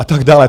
A tak dále.